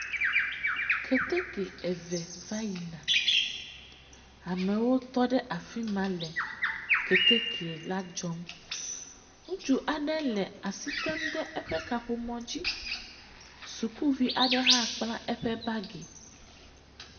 Keteke eve va yina. Amewo tɔ ɖe afima le Keteke la dzɔm. Ŋutsu aɖe le asi tem ɖe eƒe kaƒomɔ dzi. Sukuvi aɖe hã kpla eƒe bagi.